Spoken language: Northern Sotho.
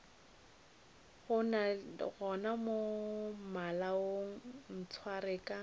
gona mo malaong ntshware ka